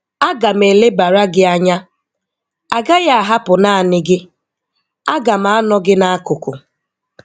A ga m elebara gị anya, agaghị ahapụ naanị gị, a ga m anọ gị n'akụkụ.